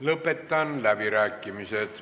Lõpetan läbirääkimised.